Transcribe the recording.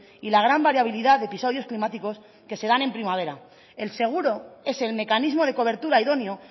y la gran variabilidad de episodios climáticos que se dan en primavera el seguro es el mecanismo de cobertura idóneo